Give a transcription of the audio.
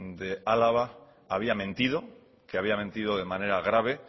de álava había mentido que había mentido de manera grave